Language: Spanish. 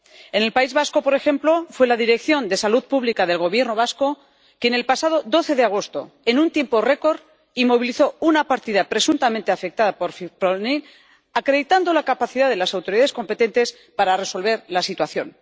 En el País Vasco, por ejemplo, fue la Dirección de Salud Pública del Gobierno vasco quien, el pasado 12 de agosto, en un tiempo récord, inmovilizó una partida presuntamente afectada por fipronil, acreditando la capacidad de las autoridades competentes para resolver la situación.